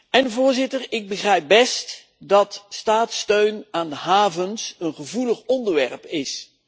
En voorzitter, ik begrijp best dat staatssteun aan havens een gevoelig onderwerp is.